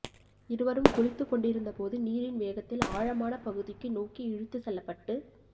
இருவரும் குளித்து கொண்டிருந்தபோது நீரின் வேகத்தில் ஆழமான பகுதிக்கு நோக்கி இழுத்து செல்லப்பட்டு